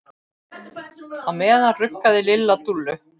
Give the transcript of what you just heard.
Á meðan ruggaði Lilla Dúllu.